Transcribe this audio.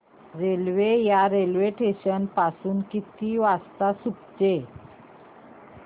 railway या station पासून किती वाजता सुटते